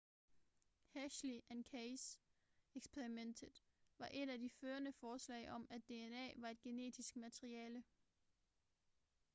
hershey and chase eksperimentet var et af de førende forslag om at dna var et genetisk materiale